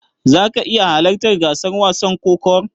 Zaka iya halartar gasar wasan kokawar?